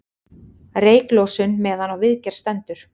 Reyklosun meðan á viðgerð stendur